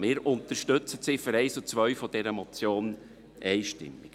Wir unterstützen die Ziffern 1 und 2 dieser Motion einstimmig.